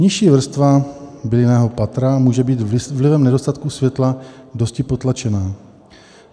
Nižší vrstva bylinného patra může být vlivem nedostatku světla dosti potlačená.